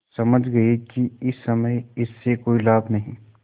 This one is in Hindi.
समझ गये कि इस समय इससे कोई लाभ नहीं